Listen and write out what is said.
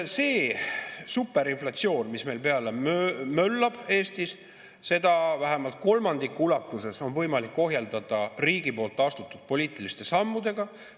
Seda superinflatsiooni, mis meil Eestis möllab, on vähemalt kolmandiku ulatuses võimalik ohjeldada riigi astutud poliitiliste sammudega.